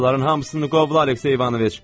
Onların hamısını qov, Aleksey İvanoviç!